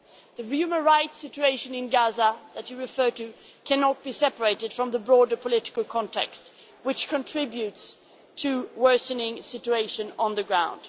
The human rights situation in Gaza that you referred to cannot be separated from the broader political context, which contributes to a worsening situation on the ground.